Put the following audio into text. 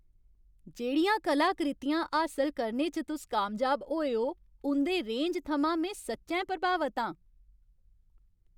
जेह्ड़ियां कलाकृतियां हासल करने च तुस कामयाब होए ओ, उं'दे रेंज थमां में सच्चैं प्रभावत आं।